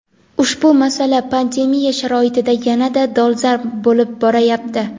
Ushbu masala pandemiya sharoitida yanada dolzarb bo‘lib borayapti.